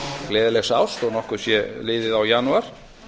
gleðilegs árs þó að nokkuð sé liðið á janúar